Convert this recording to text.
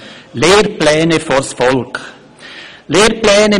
«Lehrpläne vors Volk!».